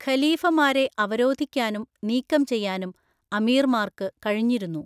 ഖലീഫമാരെ അവരോധിക്കാനും നീക്കം ചെയ്യാനും അമീർമാർക്ക് കഴിഞ്ഞിരുന്നു.